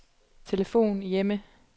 telefon hjemme